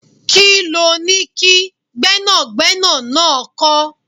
Kí loni kí Gbẹ́nàgbẹ́nà náà kọ̀?